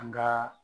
An gaa